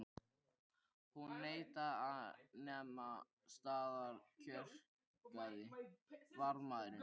Hún neitaði að nema staðar kjökraði varðmaðurinn.